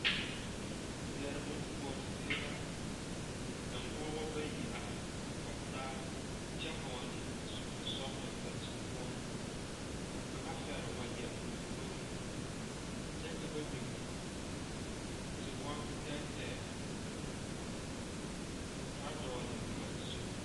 Zier bon kuɔre zie la. Ka pogeba bayi are kɔge taa kyɛ vogle zupul sɔglɔ ba zu poʊ. Ka kanga fɛr wagye o lomboreŋ kyɛ ka ba biŋ tewom teɛteɛ Kaa dogle boma zu.